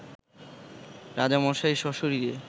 রাজামশাই সশরীরে